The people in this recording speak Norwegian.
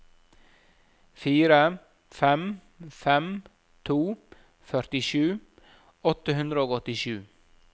fire fem fem to førtisju åtte hundre og åttisju